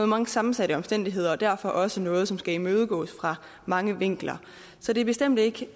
meget sammensatte omstændigheder og derfor også noget som skal imødegås fra mange vinkler så det er bestemt ikke